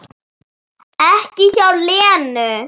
Ekki hjá Lenu